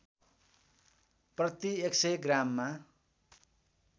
प्रति १०० ग्राममा